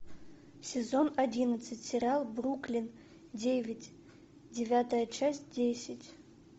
сезон одиннадцать сериал бруклин девять девятая часть десять